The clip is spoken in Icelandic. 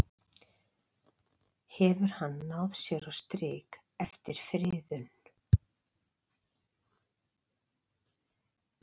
Hefur hann náð sér á strik eftir friðun?